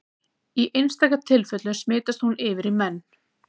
Í einstaka tilfellum smitast hún yfir í menn.